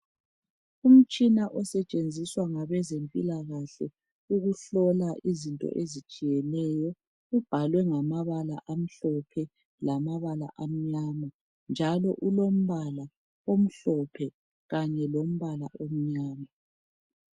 Umtshina osetshenziswa ngabezempilakahle ukuhlola izinto ezitshiyeneyo ubhalwe ngamabala amhlophe lamabala amnyama njalo ulombala omhlophe kanye lombala omnyama.